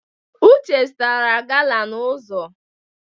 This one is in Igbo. Uche zụtara gala n'ụzọ.